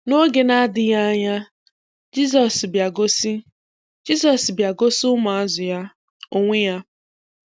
N’oge na-adịghị anya, Jisọs bịa gosi Jisọs bịa gosi ụmụazụ Ya onwe Ya.